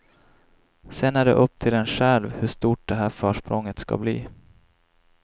Sen är det upp till en själv hur stort det här försprånget ska bli.